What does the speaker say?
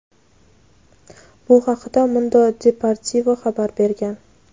Bu haqda "Mundo Deportivo" xabar bergan.